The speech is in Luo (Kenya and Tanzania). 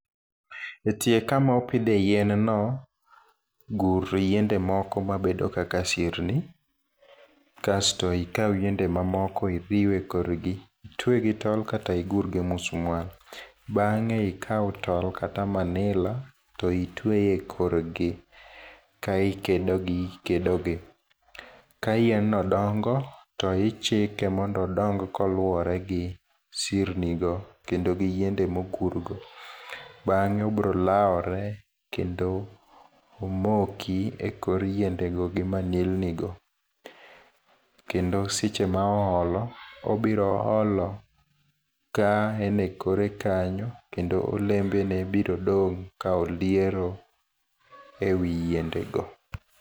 E tie kama opidhe yienno, gur yiende moko mabedo kaka sirni. Kasto ikaw yiende ma moko iriw e korgi, itwe gi tol kata igur gi musmwal. Bangé ikaw tol kata manila, to itwee korgi. Kae ikedogi ikedogi. Ka yien no dongo, to ichike mondo odong ka oluwore gi sirni go, kendo gi yiende ma ogur go. Bangé obiro lawre, kendo omoki e kor yiendego gi manilni go. Kendo seche ma oolo, obiro olo ka en e kore kanyo, kendo olembe ne biro dong, ka oliero e wi yiende go.